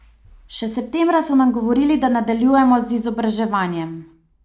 Še septembra so nam govorili, da nadaljujemo z izobraževanjem.